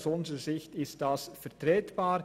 Aus unserer Sicht ist das vertretbar.